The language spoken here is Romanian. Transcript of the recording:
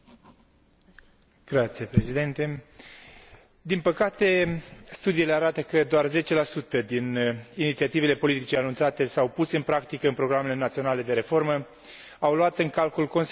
Din păcate, studiile arată că doar 10 din inițiativele politicii anunțate sau puse în practică în programele naționale de reformă au luat în calcul consecințele acestei măsuri asupra egalității de gen.